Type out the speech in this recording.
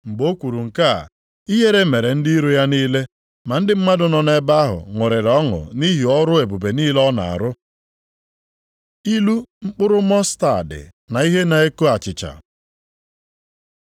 Mgbe o kwuru nke a, ihere mere ndị iro ya niile, ma ndị mmadụ nọ nʼebe ahụ ṅụrịrị ọṅụ nʼihi ọrụ ebube niile ọ na-arụ. Ilu mkpụrụ mọstaadị na ihe na-eko achịcha